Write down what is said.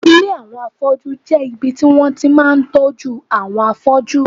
Ilé àwọn afọ́jú jẹ́ ibi tí wọ́n ti máa ń tọ́jú àwọn afọ́jú